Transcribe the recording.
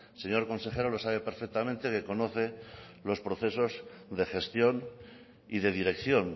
señor consejero lo sabe perfectamente que conoce los procesos de gestión y de dirección